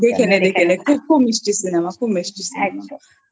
দেখে নে দেখে নে খুব মিষ্টিCinemaখুব মিষ্টিCinema